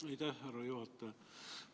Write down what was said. Aitäh, härra juhataja!